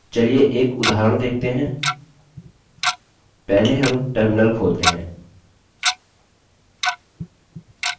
चलिए एक उदाहरण देखते हैं पहले हम terminal खोलते हैं